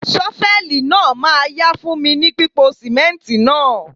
Ṣọfẹ́lì náà ma yá fún mi ní pípo sìmẹ́ǹtì náà..